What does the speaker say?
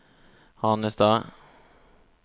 Hanestad